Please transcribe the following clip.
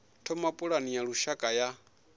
thoma pulane ya lushaka ya